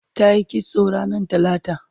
tayi kitso ranar talata